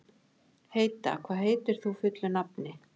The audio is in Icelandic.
Heida, hvað heitir þú fullu nafni?